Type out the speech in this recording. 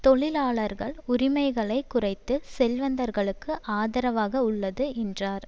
தொழிலாளர்கள் உரிமைகளை குறைத்து செல்வந்தர்களுக்கு ஆதரவாக உள்ளது என்றார்